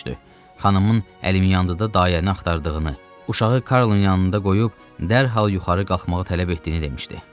Xanımımın Əlimyandıda dayə nə axtardığını, uşağı Karlın yanında qoyub dərhal yuxarı qalxmağı tələb etdiyini demişdi.